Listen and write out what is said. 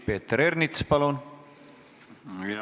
Peeter Ernits, palun!